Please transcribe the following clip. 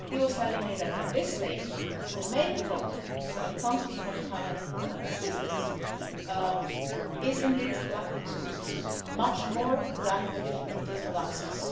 He was telling me that at this stage, the main problem when it comes to humanitarian assistance is indeed the lack of resources much more than the difficulties of access.